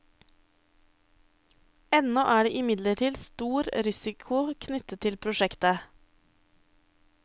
Ennå er det imidlertid stor risiko knyttet til prosjektet.